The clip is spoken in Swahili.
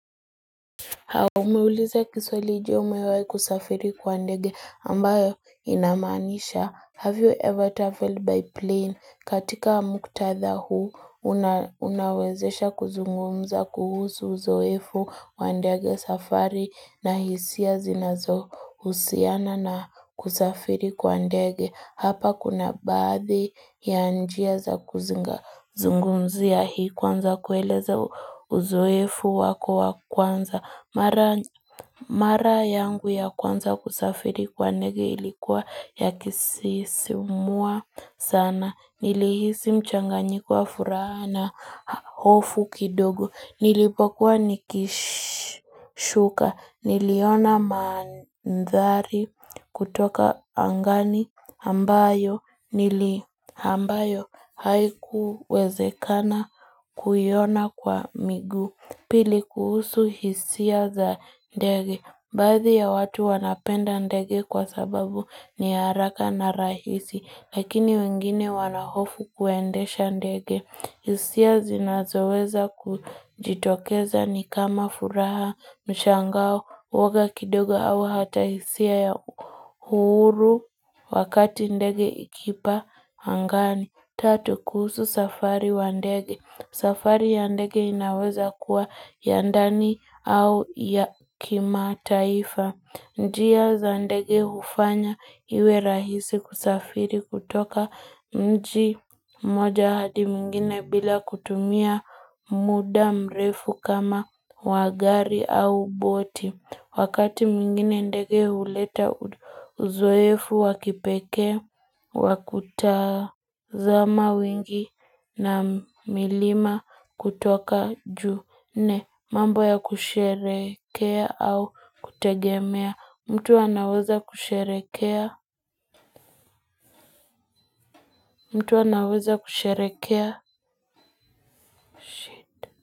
Umeuliza kiswali jje umewahi kusafiri kwa ndege ambayo inamanisha have you ever travelled by plane? Katika muktadha huu, unawezesha kuzungumza kuhusu uzoefu wa ndege, safari na hisia zinazohusiana na kusafiri kwa ndege. Hapa kuna baadhi ya njia za kuzinga zungumzia hii kwanza kueleza uzoefu wako wa kwanza. Mara Mara yangu ya kwanza kusafiri kwa ndege ilikuwa ya kusisimua sana. Nilihisi mchanganyiko wa furaha na hofu kidogo. Nilipokuwa nikishuka, niliona manthari kutoka angani ambayo haikuwezekana kuiona kwa miguu. Pili kuhusu hisia za ndege. Baadhi ya watu wanapenda ndege kwa sababu ni haraka na rahisi. Lakini wengine wanahofu kuendesha ndege. Hisia zinazoweza kujitokeza ni kama furaha, mshangao, uwoga kidogo au hata hisia ya huru wakati ndege ikipaa angani. Tatu kuhusu safari wa ndege. Safari ya ndege inaweza kuwa ya ndani au ya kimataifa. Njia za ndege hufanya iwe rahisi kusafiri kutoka mji mmoja hadi mwingine bila kutumia muda mrefu kama wa gari au boti. Wakati mwingine ndege huleta uzoefu wa kipekee. Wa kutazama wengi na milima kutoka juu. Nne mambo ya kusherehekea au kutegemea. Mtu anaweza kusherehekea mtu anaweza kusherekea.